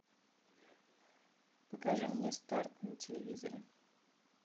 покажи мне старт на телевизоре